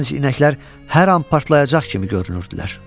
Gənc inəklər hər an partlayacaq kimi görünürdülər.